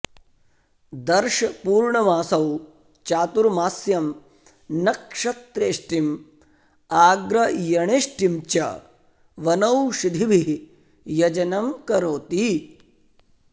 दर्शपूर्णमासौ चातुर्मास्यं नक्षत्रेष्टिम् आग्रयणेष्टिं च वनौषिधिभिः यजनं करोति